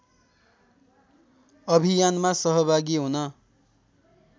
अभियानमा सहभागी हुन